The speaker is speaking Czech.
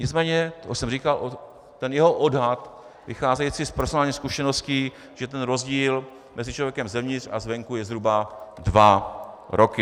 Nicméně, to jsem říkal, ten jeho odhad vycházející z personálních zkušeností, že ten rozdíl mezi člověkem zevnitř a zvenku je zhruba dva roky.